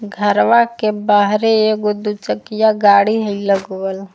घरवा के बाहरे एगो दुचकिया गाड़ी हई लगवल।